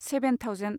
seven thousand